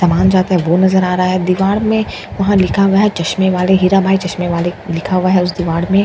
समान जाता है वो नजर आ रहा है दीवार में वहां लिखा हुआ है चश्मे वाले हीरा भाई चश्मे वाले लिखा हुआ है उसे दीवाड़ में --